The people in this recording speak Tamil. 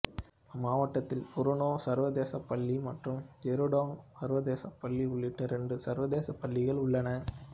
மாவட்டத்தில் புருனே சர்வதேச பள்ளி மற்றும் ஜெருடோங் சர்வதேச பள்ளி உள்ளிட்ட இரண்டு சர்வதேச பள்ளிகள் உள்ளன